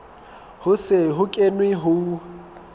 ho se ho kenwe ho